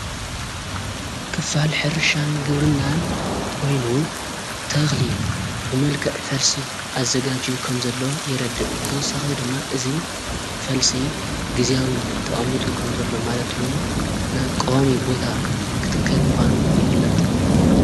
ክፋል ሕርሻን ግርናን ኮይኑ ተኽሊ ብመልከዕ ፈልሲ ኣዘጋጅ ኸም ዘሎ የረድእ ብተወሳኽ ድማ እዙይ ፈልሲ ጊዜኣዊ ተኣሚጡ ኸም ዘለ ማለትውን ና ቀዋሚ ቦታ ክትከል ምዃኑ ይፍለጥ።